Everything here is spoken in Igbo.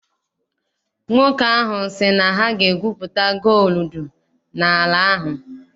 Nwoke ahụ sị na ha ga- egwupụta gooludu n'ala ahụ.